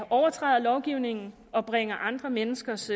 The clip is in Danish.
overtræder lovgivningen og bringer andre menneskers